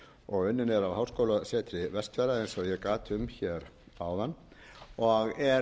og unnin er af háskólasetri vestfjarða eins og ég gat um hér áðan og er